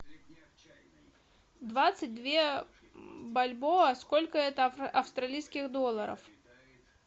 двадцать две бальбоа сколько это австралийских долларов